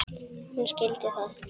Hún skildi það.